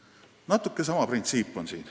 Siin on natuke tegu sama printsiibiga.